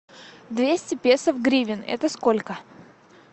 двести песо в гривен это сколько